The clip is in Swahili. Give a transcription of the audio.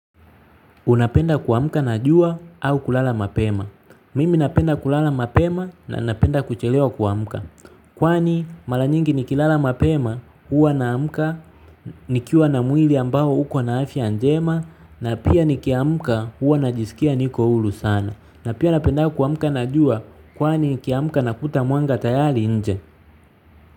Unapenda kuamka na jua au kulala mapema. Mimi napenda kulala mapema na napenda kuchelewa kuamka. Kwani mara nyingi nikilala mapema huwa naamka nikiwa na mwili ambao uko na afya njema na pia nikiamka huwa najisikia niko huru sana. Na pia napendanga kuamka na jua kwani nikiamka nakuta mwanga tayari nje.